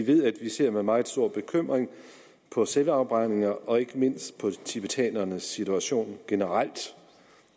ved at vi ser med meget stor bekymring på selvafbrændingerne og ikke mindst på tibetanernes situation generelt